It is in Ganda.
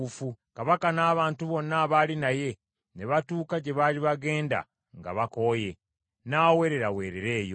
Kabaka n’abantu bonna abaali naye ne batuuka gye baali bagenda nga bakooye. N’aweereraweerera eyo.